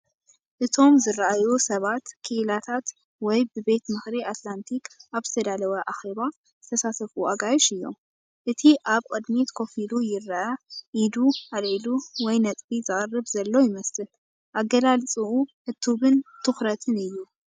እቶም ዝረኣዩ ሰባት ክኢላታት ወይ ብቤት ምኽሪ ኣትላንቲክ ኣብ ዝተዳለወ ኣኼባ ዝሳተፉ ኣጋይሽ እዮም። እቲ ኣብ ቅድሚት ኮፍ ኢሉ ይረአ፤ ኢዱ ኣልዒሉ ወይ ነጥቢ ዘቕርብ ዘሎ ይመስል። ኣገላልጻኡ ዕቱብን ትኹረትን እዩ።